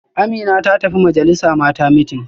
Amina ta tafi majalisa Mata meeting